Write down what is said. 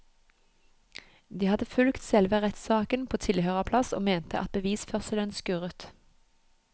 De hadde fulgt selve rettssaken på tilhørerplass og mente at bevisførselen skurret.